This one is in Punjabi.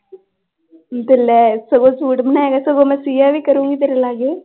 ਤੇ ਲੈ ਸਗੋਂ ਸੂਟ ਬਣਾਏਗਾ ਸਗੋਂ ਮੈਂ ਸੀਆ ਵੀ ਕਰੂੰਗੀ ਤੇਰੇ ਲਾਗੇ।